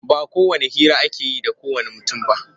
Ba kowacce hira ake yi da kowanne mutum ba.